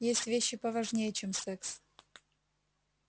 есть вещи поважнее чем секс